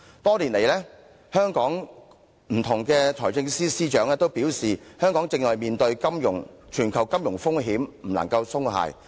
多年來，香港不同的財政司司長均表示，香港正面對全球金融風險，不能鬆懈。